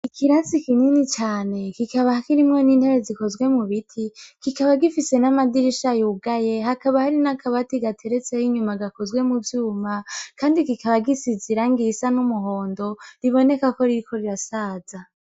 Ikirasi kinini cane kikaba kirimwo n'intebe zikozwe mu biti, kikaba gifise n'amadirisha yugaye, hakaba hari n'akabati gateretseyo inyuma gakozwe mu vyuma, kandi kikaba gifise irangi risa n'umuhondo, biboneka ko ririko rirasaza.